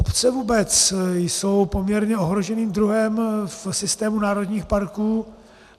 Obce vůbec jsou poměrně ohroženým druhem v systému národních parků.